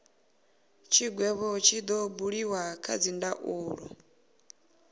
tshigwevho tshi do buliwa kha dzindaulo